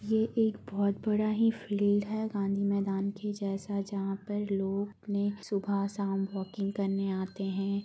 ये एक बहोत बड़ा ही फील्ड है गांधी मैदान के जैसा जहां पर लोग सुबह शाम वॉकिंग करने आते है।